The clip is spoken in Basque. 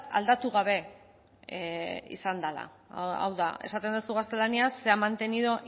aldatu gabe izan dela hau da esaten duzu gaztelaniaz se ha mantenido